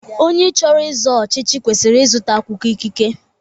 Onye chọrọ izo ọchịchị kwesịrị ịzụta akwụkwọ ikike.